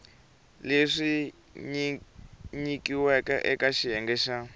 leswi nyikiweke eka xiyenge xa